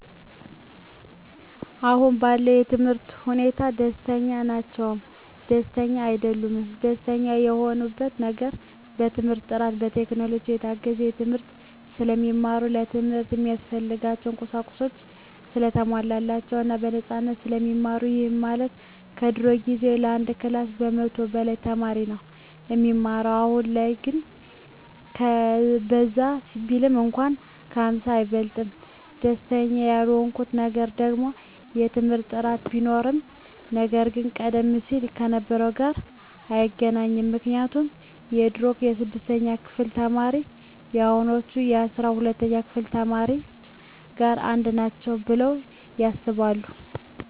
አሁን ባለው የትምህርት ሁኔታ ደስተኛ ናቸውም ደስተኛም አይደሉምም። ደስተኛ የሆኑበት ነገር በትምህርት ጥራቱ፣ በቴክኖሎጂ የታገዘ ትምህርት ስለሚማሩ፣ ለትምህርት እሚያስፈልጉ ቁሳቁሶች ሰለተሟሉላቸው እና በነፃነት ስለሚማሩ ይህም ማለት በድሮ ጊዜ ከአንድ ክላስ ከመቶ በላይ ተማሪ ነው እሚማረው አሁን ግን በዛ ቢባል እንኳን ከ ሃምሳ አይበልጥም። ደስተኛ ያልሆኑበት ነገር ደግሞ የትምህርት ጥራት ቢኖርም ነገር ግን ቀደም ሲል ከነበረው ጋር አይገናኝም ምክንያቱም የድሮ የስድስተኛ ክፍል ተማሪዎች ከአሁኖቹ አስራ ሁለተኛ ክፍል ተማሪዎች ጋር አንድ ናቸው ብለው ያስባሉ።